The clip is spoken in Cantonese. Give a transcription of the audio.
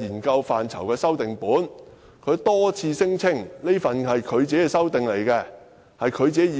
研究範疇修訂本，他多次聲稱那是他自己的修訂，他自己的意思。